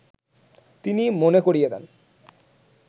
তিনি মনে করিয়ে দেন